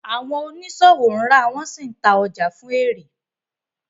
Àwọn oniṣowo ǹra wọn si ǹta ọja fun éré.